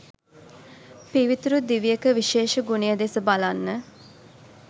පිවිතුරු දිවියක විශේෂ ගුණය දෙස බලන්න.